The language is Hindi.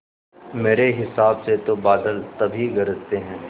मेरे हिसाब से तो बादल तभी गरजते हैं